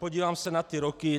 Podívám se na ty roky.